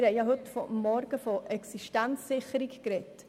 Wir haben am Vormittag von Existenzsicherung gesprochen.